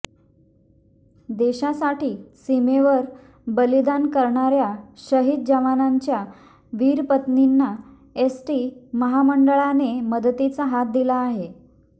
देशासाठी सीमेवर बलिदान करणाऱया शहीद जवानांच्या वीरपत्नींना एसटी महामंडळाने मदतीचा हात दिला आहे